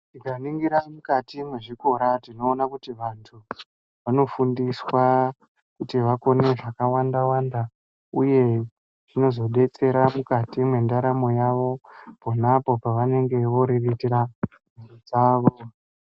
Tikaningira mukati mwezvikora tinoona kuti vantu vanofundiswa kuti vakone zvakawanda wanda uye zvozodetsera mukati mwendaramo yavo ponapo pavanenge voreretera mhuri dzavo